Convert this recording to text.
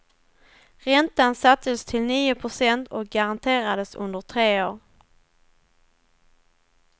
Räntan sattes till nio procent och garanterades under tre år.